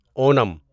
Onam